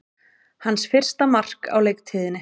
Hans fyrsta mark á leiktíðinni